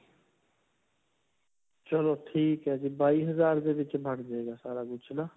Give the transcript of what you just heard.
ਚਲੋ ਠੀਕ ਹੈ ਜੀ. ਬਾਇਸ ਹਜਾਰ ਦੇ ਵਿੱਚ 'ਚ ਬਣਜੇਗਾ ਸਾਰਾ ਕੁਛ ਨਾ?